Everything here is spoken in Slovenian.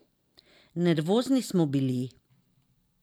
Nervozni smo bili.